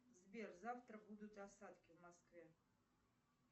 сбер завтра будут осадки в москве